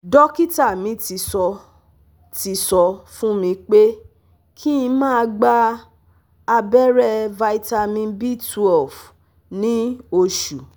Dókítà mi tí sọ tí sọ fún mi pé kí n máa gba abeere vitamin B twelve ni oṣù